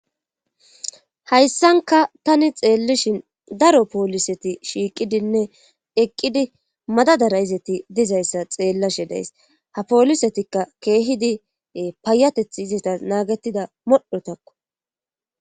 Hayssanka tani xeellishin daro pooliseti shiiqidinne eqqidi madadara izeti dizayssa xeellashe days ha poolisetikka keehidi payateth izeta naagettida modhotakko.